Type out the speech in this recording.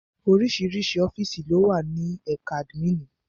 Oríṣiríṣi ọ́fìsì lówà ní ẹ̀ka àdmínìì.